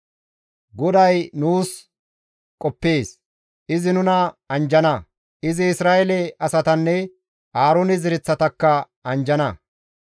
GODAY nuus qoppees; izi nuna anjjana; izi Isra7eele asatanne Aaroone zereththatakka anjjana.